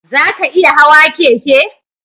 Za ka iya hawa keke?